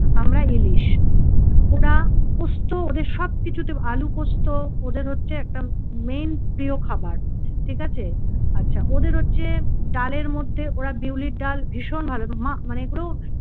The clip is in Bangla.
আমরা ইলিশ। ওরা পোস্ত ওদের সবকিছুতে আলু পোস্ত ওদের হচ্ছে একটা main প্রিয় খাবার ঠিক আছে আচ্ছা ওদের হচ্ছে ডালের মধ্যে ওরা বিউলির ডাল ভীষণ ভালো মা~ মানে এগুলো